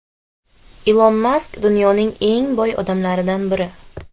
Ilon Mask dunyoning eng boy odamlaridan biri.